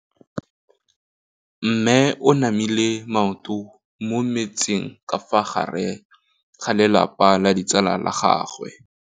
Mme o namile maoto mo mmetseng ka fa gare ga lelapa le ditsala tsa gagwe.